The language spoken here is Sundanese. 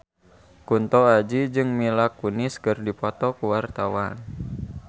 Kunto Aji jeung Mila Kunis keur dipoto ku wartawan